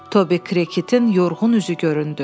Tobi Kritin yorğun üzü göründü.